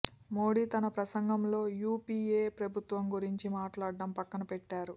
మోడీ తన ప్రసంగంలో యూపిఏ ప్రభుత్వం గురించి మాట్లాడం పక్కన పెట్టారు